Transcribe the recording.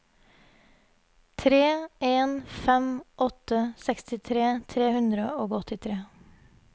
tre en fem åtte sekstitre tre hundre og åttitre